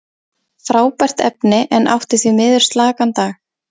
Frábært efni, en átti því miður slakan dag.